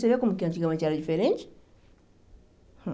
Você viu como que antigamente era diferente? Então